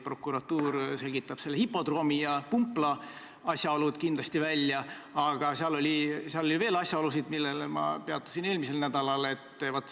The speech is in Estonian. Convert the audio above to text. Prokuratuur selgitab hipodroomi ja pumpla asjaolud kindlasti välja, aga seal oli veel asjaolusid, millel ma peatusin eelmisel nädalal.